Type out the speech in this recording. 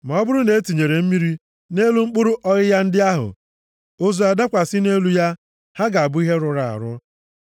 Ma ọ bụrụ na e tinyere mmiri nʼelu mkpụrụ ọghịgha ndị ahụ, ozu adakwasị nʼelu ya, ha ga-abụ ihe rụrụ arụ.